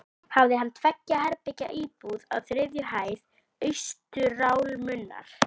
Hafði hann tveggja herbergja íbúð á þriðju hæð austurálmunnar.